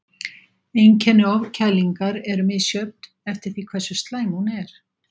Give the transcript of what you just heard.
Einkenni ofkælingar eru misjöfn eftir því hversu slæm hún er.